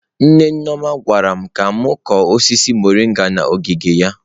Nne Nneoma gwara m ka m kụọ osisi mọrịnga n’ogige ya.